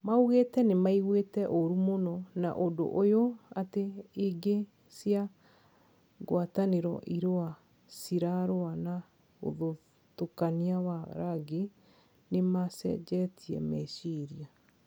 Maugite nimaiguite oru mũno na ũndũ ũyũ ati ingi cia guataniro irua cirarua na ũthutukania wa rangi nimacenjetie meciria.